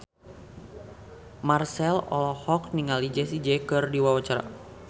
Marchell olohok ningali Jessie J keur diwawancara